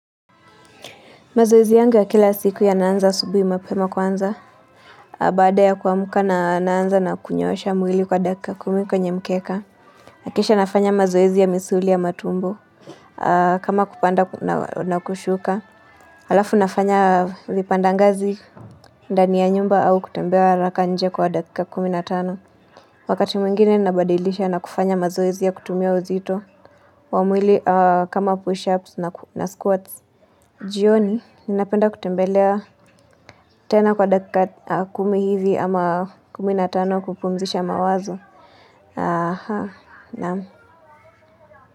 Mazoezi yangu ya kila siku yanaanza asubuhi mapema kwanza. Baada ya kuamka naanza na kunyoosha mwili kwa dakika kumi kwenye mkeka. Kisha nafanya mazoezi ya misuli ya matumbo. Kama kupanda na kushuka. Halafu nafanya vipandangazi ndani ya nyumba au kutembea haraka nje kwa dakika kumi na tano. Wakati mwingine nabadilisha na kufanya mazoezi ya kutumia uzito. Wa mwili kama pushups na squats. Jioni, ninapenda kutembelea tena kwa dakika kumi hivi ama kumi na tano kupumzisha mawazo naam.